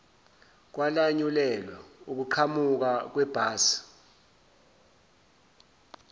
kwalanyulelwa ukuqhamuka kwebhasi